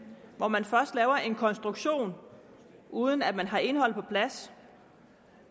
hvor man først laver en konstruktion uden at man har indholdet på plads